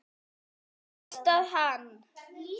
Þú veist að hann.